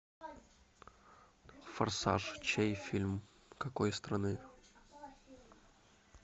форсаж чей фильм какой страны